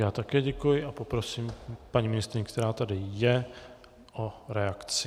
Já také děkuji a poprosím paní ministryni, která tady je, o reakci.